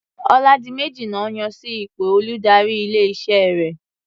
Ọládiméjì lọ́ yàn sí ipò olùdarí ilé-iṣẹ́ rẹ̀.